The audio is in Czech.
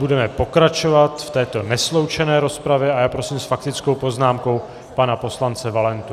Budeme pokračovat v této nesloučené rozpravě a já prosím s faktickou poznámkou pana poslance Valentu.